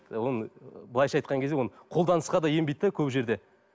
оны былайша айтқан кезде оны қолданысқа да енбейді де көп жерде